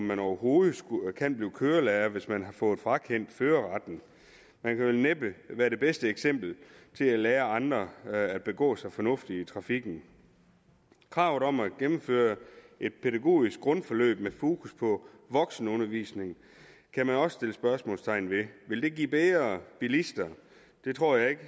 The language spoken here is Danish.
man overhovedet være kørelærer hvis man har fået frakendt førerretten man kan vel næppe være det bedste eksempel til at lære andre at begå sig fornuftigt i trafikken kravet om at gennemføre et pædagogisk grundforløb med fokus på voksenundervisning kan man også sætte spørgsmålstegn ved vil det give bedre bilister det tror jeg ikke